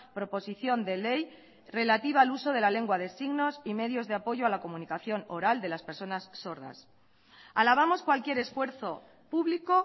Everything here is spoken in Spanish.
proposición de ley relativa al uso de la lengua de signos y medios de apoyo a la comunicación oral de las personas sordas alabamos cualquier esfuerzo público